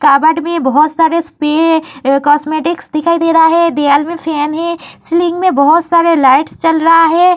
में बहोत सारे कास्मेटिक दिखाई दे रहा है। दीवाल में फैन है। सीलिंग में बहोत सारे लाइट्स चल रहे हैं।